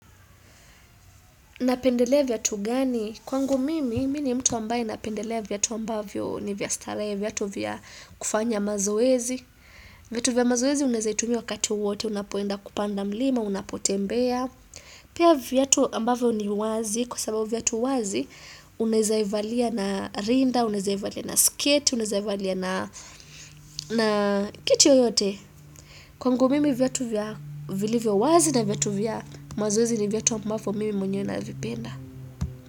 Napendelea vyatu gani? Kwangu mimi, mini mtu ambaye napendelea vyatu ambavyo ni vyastaree, vyatu vya kufanya mazoezi. Vyatu vya mazoezi unezaitumia wakati uote, unapoenda kupanda mlima, unapotembea. Pia vyatu ambavyo ni wazi, kwa sababu vyatu wazi, unezaivalia na rinda, unezaivalia na skate, unezaivalia na kiti yoyote. Kwangu mimi vyatu vya vili vya wazi na vyatu vya mazoezi ni vyatu ambavyo mimi mwenye na vipenda.